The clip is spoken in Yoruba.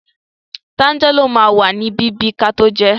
Tánjálò ma wà ní bíbí kató jẹẹ́.